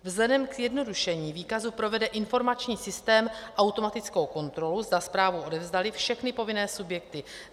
Vzhledem k zjednodušení výkazu provede informační systém automatickou kontrolu, zda zprávu odevzdaly všechny povinné subjekty.